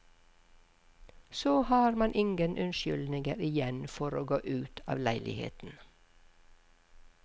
Så har man ingen unnskyldninger igjen for å gå ut av leiligheten.